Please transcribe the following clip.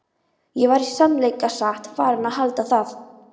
Ég var í sannleika sagt farinn að halda það.